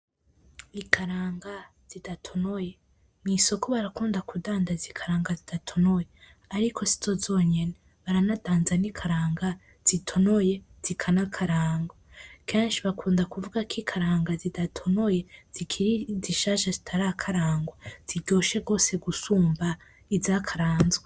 Ikaranga zidatonoye, mw'isoko barakunda kudandaza ikaranga zidatonoye ariko sizo zonyene baranadandaza n'ikaranga zitonoye zikanakararwa , kenshi bakunda kuvuga ko ikaranga zidatonoye zikiri zishasha zitarakararwa ziryoshe gose gusumba izikarazwe.